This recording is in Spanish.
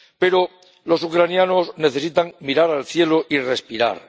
Pero los ucranianos necesitan mirar al cielo y respirar.